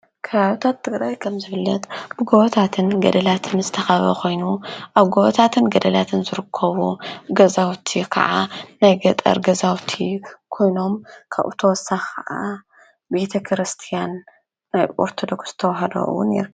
ከባቢታት ትግራይ ከም ዝፍለጥ ብጐወታትን ገደላትን ምስተኻበ ኾይኑ ኣብ ጐወታትን ገደላትን ዘርኮቡ ገዛውቲ ኸዓ ናይ ገጠር ገዛውቲ ኮይኖም ካብተወሳ ኸዓ ቤተ ክርስቲያን ናይ ኦርቶዶክስ ነይሩ::